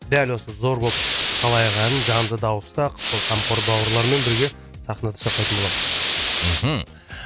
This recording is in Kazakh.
дәл осы зор болып қалайық әнін жанды дауыста сол қамқор бауырлармен бірге сахнада шырқайтын боламыз мхм